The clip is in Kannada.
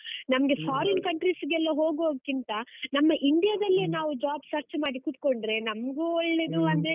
foreign countries ಗೆಲ್ಲಾ ಹೋಗುವದ್ಕಿಂತ, ನಮ್ಮ India ದಲ್ಲಿಯೇ ನಾವು job search ಮಾಡಿ ಕುತ್ಕೊಂಡ್ರೆ ನಮ್ಗೂ ಒಳ್ಳೆದು ಅಂದ್ರೆ.